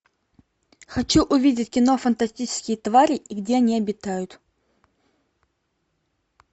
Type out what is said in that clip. хочу увидеть кино фантастические твари и где они обитают